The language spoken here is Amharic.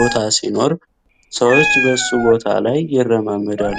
ቦታ ሲኖር ሰዎች በሱ ቦታ ላይ ይራመዳሉ።